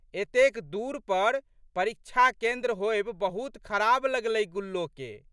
एतेक दूर पर परीक्षा केन्द्र होएब बहुत खराब लगलै गुल्लोके।